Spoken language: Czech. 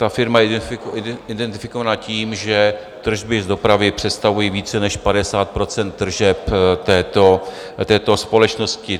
Ta firma je identifikovaná tím, že tržby z dopravy představují více než 50 % tržeb této společnosti.